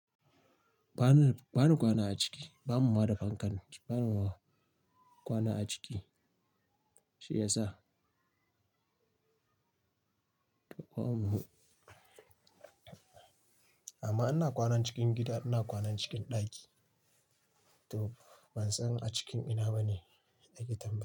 Ba na, ba na kwana a ciki. Ba mu ma da fankar Ba na kwana a ciki, shi yasa. Amma ana kwana cikin gida, ana kwana cikin ɗaki. To ban san a cikin ina ba ne ɗakin tamma.